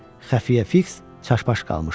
Xəfiyyə Fiks çaşbaş qalmışdı.